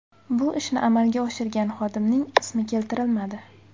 Bu ishni amalga oshirgan xodimning ismi keltirilmadi.